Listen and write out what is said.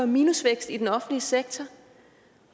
minusvækst i den offentlige sektor